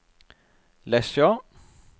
Lesja